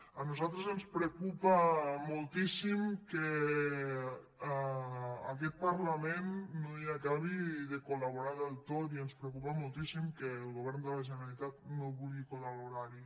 a nosaltres ens preocupa moltíssim que aquest parlament no hi acabi de col·laborar del tot i ens preocupa moltíssim que el govern de la generalitat no vulgui col·laborar hi